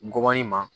Ngɔbɔnin ma